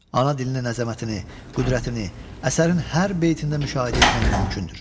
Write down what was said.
Ana dilinin əzəmətini, qüdrətini əsərin hər beytində müşahidə etmək mümkündür.